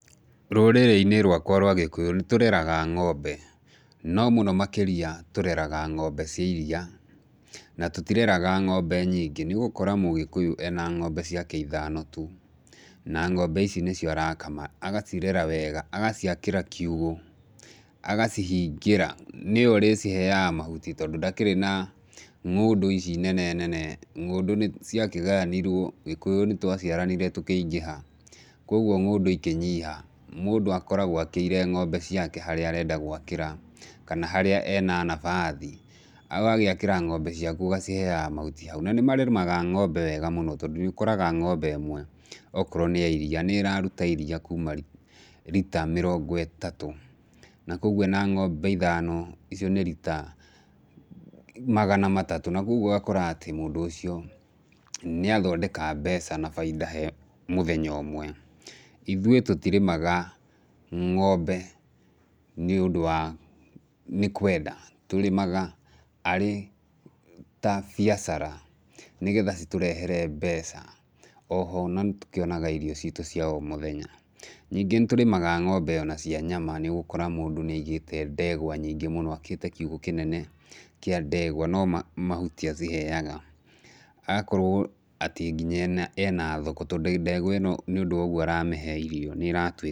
Rũrĩrĩ-inĩ rwakwa rwa Gĩkũyũ nĩtũreraga ng'ombe, no mũno makĩria tũreraga ng'ombe cia iria, na tũtireraga ng'ombe nyingĩ nĩũgũkora Mũgĩkũyũ ena ng'ombe ciake ithano tu, na ng'ombe ici nĩcio arakama, agacirera wega, agaciakĩra kiugũ, agacihingĩra nĩwe ũrĩciheaga mahuti tondũ ndakĩrĩ na ng'ũndũ ici nene nene, ng'ũndũ nĩciakĩgayanirwo, Gĩkũyũ nĩtwaciaranire tũkĩingĩha, kuoguo ng'ũndũ ikĩnyiha. Mũndũ akoragwo akĩire ng'ombe ciake harĩa arenda gwakĩra, kana harĩa ena nabathi. Agagĩakĩra ng'ombe ciaku ũgaciheaga mahuti hau, na nĩmarĩmaga ng'ombe wega mũno tondũ nĩũkoraga ng'ombe ĩmwe okorwo nĩ ya iria, nĩĩraruta iria kuma rita mĩrongo ĩtatũ, na kuoguo ena ng'ombe ithano, icio nĩ rita magana matatũ na kuoguo ũgakora atĩ mũndũ ũcio nĩathondeka mbeca na bainda he mũthenya ũmwe. Ithuĩ tũtirĩmaga ng'ombe nĩũndũ wa, nĩ kwenda, tũrĩmaga arĩ ta biacara nĩgetha citũrehere mbeca. Oho pna nĩtũkĩonaga irio citũ cia o mũthenya. Ningĩ nĩtũrĩmaga ng'ombe ona cia nyama, nĩũgũkora mũndũ nĩaigĩte ndegwa nyingĩ mũno akĩte kiugũ kĩnene kĩa ndegwa no mahuti aciheaga, agakorwo atĩ nginya ena thoko tondũ ndegwa ĩno nĩũndũ wa ũguo aramĩhe irio nĩratuĩka.